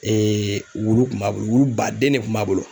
wulu kun b'a bolo wulu baden ne kun b'a bolo.